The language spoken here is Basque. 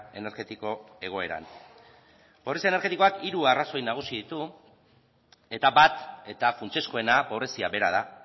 energetiko egoeran pobrezia energetikoak hiru arrazoi nagusi ditu eta bat eta funtsezkoena pobrezia bera da